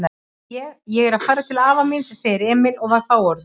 Ég. ég er að fara til afa míns, sagði Emil og var fáorður.